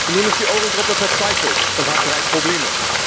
Nun ist die Eurogruppe verzweifelt und hat drei Probleme.